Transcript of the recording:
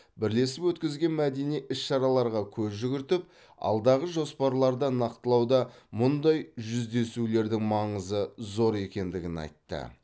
бірлесіп өткізген мәдени іс шараларға көз жүгіртіп алдағы жоспарларды нақтылауда мұндай жүздесулердің маңызы зор екендігін айтты